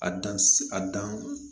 A dan si a dan